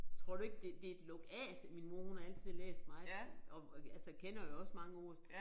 Tror du ikke det det et lukaf min mor hun har altid læst meget og og altså kender jo også mange ord